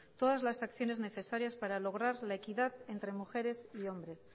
todas las acciones necesarias para lograr la equidad entre mujeres y hombres